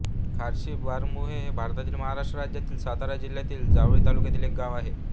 खार्शी बारमुरे हे भारतातील महाराष्ट्र राज्यातील सातारा जिल्ह्यातील जावळी तालुक्यातील एक गाव आहे